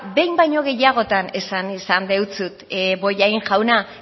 behin baino gehiagotan esan dizut bollain jauna